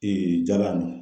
jalan ninnu.